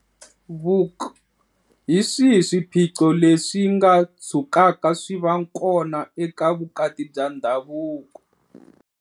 Vuk- Hi swihi swiphiqo leswi nga tshukaka swi va kona eka vukati bya ndhavuko?